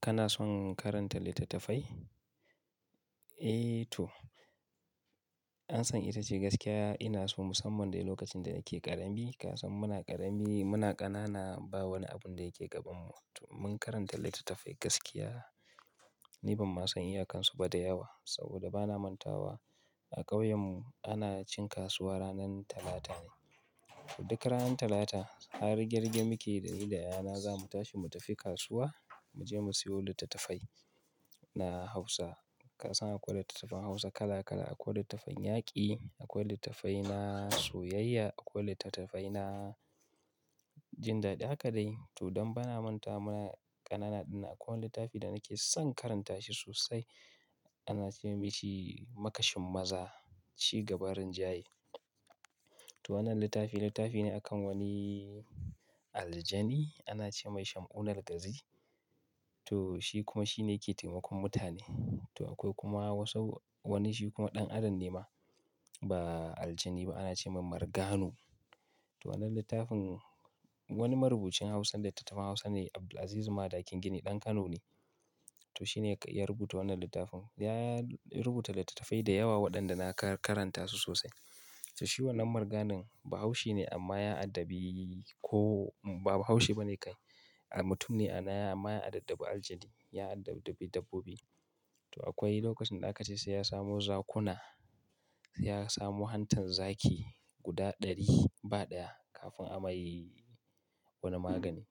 Kana son karanta littattafai? Eh to. An san ita ce gaskiya. Ina so musamman dai lokacin da nake ƙarami. Kasan muna ƙarami, muna ƙanana ba wani abun da yake gabanmu. Mun karanta littattafai gaskiya. Ni ban ma san iyakan su ba da yawa saboda bana manta wa. A ƙauyen mu ana cin kasuwa ranan Talata ne. Duk ranan Talata har rige rige mukeyi da ni da yayana zamu tashi mu tafi kasuwa mu je mu siyo littattafai na Hausa. Kasan akwai littattafan Hausa kala kala, akwai littattafan yaƙi, akwai littattafai na soyayya, akwai littattafai na jin daɗi. Haka dai to don bana mantawa muna ƙanana ɗin akwai wani littafi da nake son karanta shi sosai. Ana ce mashin Makashin Maza Ci Gaba rinjaye. To wannan littafi, littafi ne akan wani aljani. Ana ce mai sham'un algazi. To shi kuma shine ke taimakon mutane. To akwai kuma wasu wani shi kuma ɗan adam ne ma ba aljani ba. Ana ce mai Marganu. To wannan littafin wani marubucin Hausa, littattafan Hausa ne Abdulaziz Madakin gini ɗan Kano ne. To shi ne ya rubuta wannan littafin. Ya rubuta littattafai da yawa waɗanda na karanta su sosai. To shi wannan marganin ba haushi ne amma ya addabi ko ba haushi ba ne kai. Mutum ne amma ya addabi algaji. Ya addabi dabbobi. To akwai lokacin da aka ce sai ya samo zakuna. Sai ya samu hantan zaki guda ɗari ba ɗaya kafin amai wani magani.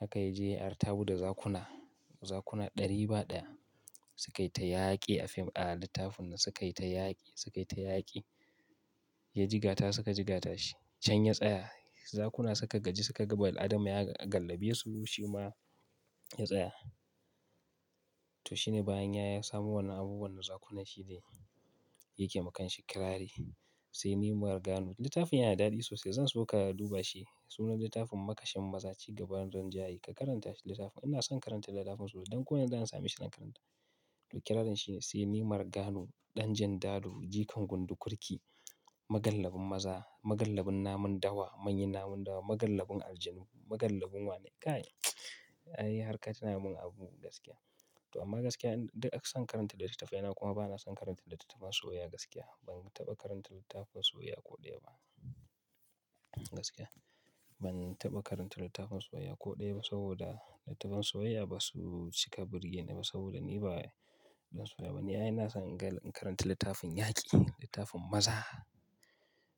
Haka ya je ya artabu da zakuna. Zakuna ɗari ba ɗaya suka yi ta yaƙi a fim a littafin nan suka yi ta yaƙi, suka yi ta yaƙi. Ya jigata suka jigata shi. Shan ya tsaya. Zakuna suka gaji suka gama al'adama ya galbaye su shi ma ya tsaya. To shi ne bayan ya samu wannan abubuwan zakuna shi ne yake makanshi kirari. Sai nimar gano. Littafin yana daɗi sosai. Zan so ka duba shi. Sunan littafin Makashin Maza Ci Gaba rinjaye. Ka karanta shi littafin. Ina son karanta littafin sosai. Don ko ina zan sami shi zan karanta. To kirarin shi sai nimar gano ɗan jan dadu jikan gundu kurki magallabin maza magallabin namun dawa manyan namun dawa magallabin aljanu magallabin wane? Kai. Ai har ka tuna mun abu gaskiya. To amma gaskiya duk akasan karanta littattafai. Ina kuma bana son karanta littattafan soyayya gaskiya. Ban taɓa karanta littafin soyayya ko ɗaya ba. Gaskiya. Ban taɓa karanta littafin soyayya ko ɗaya ba saboda littattafan soyayya ba su cika birge ni ba saboda ni ba ɗan soyayya ba ne. Ai ina son in karanta littafin yaƙi, littafin maza.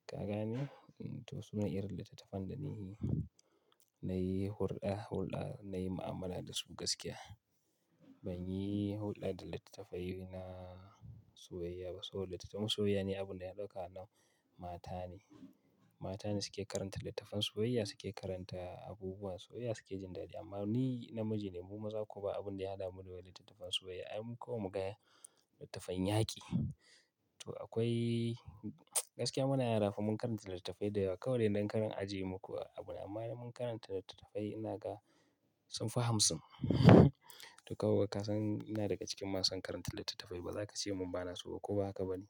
Ka gane? To sunan irin littattafan da ni nayi hulɗa, hulɗa nayi mu'amala da su gaskiya. Ban yi hulɗa da littattafai na soyayya ba saboda littafin soyayya ne abun da ya ɗauka nau mata ne. Mata ne suke karanta littattafan soyayya. Suke karanta abubuwan soyayya suke jin daɗi. Amma ni namiji ne. Mu maza kuwa ba abun da ya haɗa mu da littattafan soyayya. Ai mu kulawa mu gaya littafin yaƙi. To akwai gaskiya muna yara mun karanta littattafai da yawa kawai dai don kar in aje. Muku abu amma dai mun karanta littattafai. Ina ga sun fahamsin. To kawai ka san ina daga cikin masu karanta littattafai ba za ka ce mun bana so ba ko ba haka ba ne?